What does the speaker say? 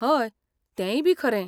हय, तेंयबी खरें!